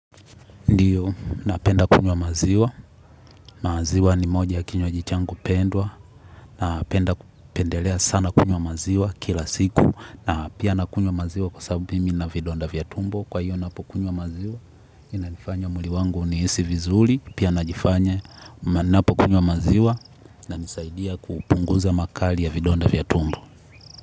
Ndiyo, napenda kunywa maziwa, maziwa ni moja ya kinywaji changu pendwa, napenda pendelea sana kunywa maziwa kila siku, na pia nakunywa maziwa kwa sababu pia mimi nina vidonda vya tumbo, kwa hiyo ninapo kunywa maziwa, inalifanya mwili wangu ni hisi vizuri, pia najifanya, ninapo kunywa maziwa, inanisaidia kupunguza makali ya vidonda vya tumbo.